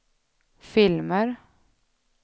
filmer